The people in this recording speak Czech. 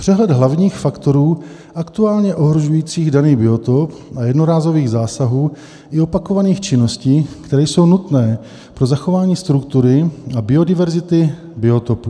Přehled hlavních faktorů aktuálně ohrožujících daný biotop a jednorázových zásahů i opakovaných činností, které jsou nutné pro zachování struktury a biodiverzity biotopu.